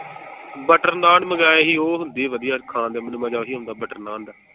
Butter naan ਮੰਗਾਏ ਸੀ ਉਹ ਹੁੰਦੇ ਵਧੀਆ ਖਾਣ ਦੇ ਮੈਨੂੰ ਮਜਾ ਓਹੀ ਆਉਂਦਾ butter naan ਦਾ।